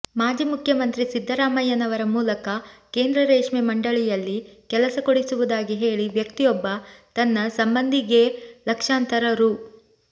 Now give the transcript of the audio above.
ಮಾಜಿ ಮುಖ್ಯಮಂತ್ರಿ ಸಿದ್ದರಾಮಯ್ಯನವರ ಮೂಲಕ ಕೇಂದ್ರ ರೇಷ್ಮೆ ಮಂಡಳಿಯಲ್ಲಿ ಕೆಲಸ ಕೊಡಿಸುವುದಾಗಿ ಹೇಳಿ ವ್ಯಕ್ತಿಯೊಬ್ಬ ತನ್ನ ಸಂಬಂಧಿಗೇ ಲಕ್ಷಾಂತರ ರೂ